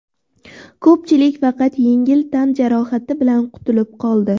Ko‘pchilik faqat yengil tan jarohati bilan qutulib qoldi.